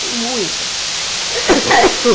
Tem muitas.